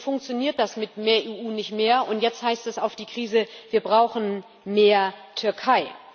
Und nun funktioniert das mit mehr EU nicht mehr, und jetzt heißt es auf die Krise Wir brauchen mehr Türkei.